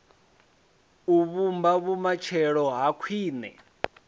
u vhumba vhumatshelo ha khwine